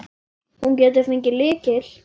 Hún getur fengið lykil.